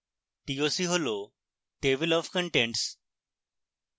toc হল table of contents